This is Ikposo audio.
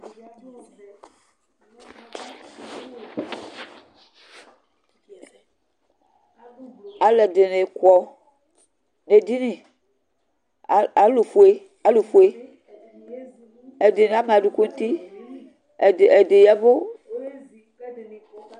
Alʋɛdini kɔ nʋ edini alʋfue ɛdini ama adʋkʋ nʋ uti, ɛdi ya ɛvʋ